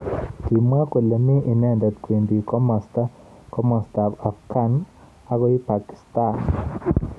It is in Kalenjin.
Kimwa kole mi inendet kwendi kimosta ab Afghan akoi Pakistan.